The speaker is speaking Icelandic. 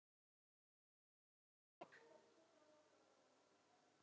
Ólafur Arnar.